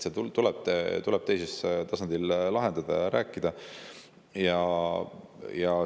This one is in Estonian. See tuleb teisel tasandil lahendada ja sellest rääkida.